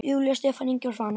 Júlía, Stefán Ingi og Svanur.